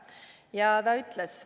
Ja ta ütles: "...